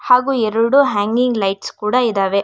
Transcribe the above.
ಹಾಗೂ ಎರಡು hanging lights ಕೂಡ ಇದಾವೆ.